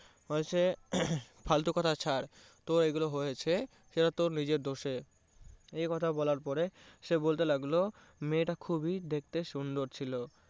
ফালতু কথা ছাড় তো এইগুলো হয়েছে সেটা তোর নিজের দোষে। একথা বলার পরে সে বলতে লাগলো মেয়েটা খুবই দেখতে সুন্দর ছিল।